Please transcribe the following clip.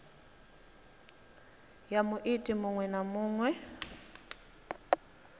ya muiti muṅwe na muṅwe